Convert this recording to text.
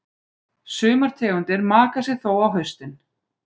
Sumar tegundir maka sig þó á haustin.